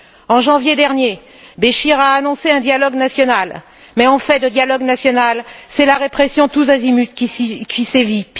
En janvier dernier, Béchir a annoncé un dialogue national, mais en fait de dialogue national, c'est la répression tous azimuts qui sévit.